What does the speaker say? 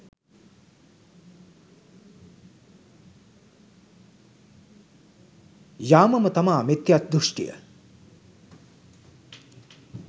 යාමම තමා මිත්‍ය්දුෂ්ටිය